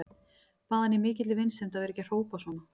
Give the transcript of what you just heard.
Bað hann í mikilli vinsemd að vera ekki að hrópa svona.